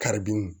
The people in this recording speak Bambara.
Karidun